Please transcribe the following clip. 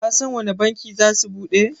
Kasan wanne banki zasu bude?